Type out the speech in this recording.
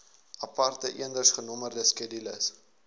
aparte eendersgenommerde skedules